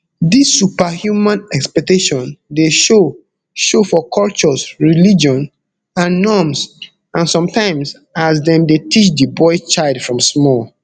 dis superhuman expectation dey show show for cultures religion and norms and sometimes as dem dey teach di boy child from small